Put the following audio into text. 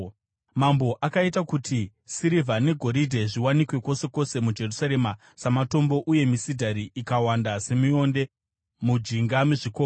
Mambo akaita kuti sirivha negoridhe zviwanikwe kwose kwose muJerusarema samatombo uye misidhari ikawanda semionde mujinga mezvikomo.